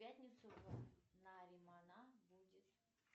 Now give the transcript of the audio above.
в пятницу наримана будет